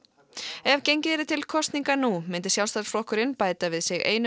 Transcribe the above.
ef gengið yrði til kosninga nú myndi Sjálfstæðisflokkurinn bæta við sig einum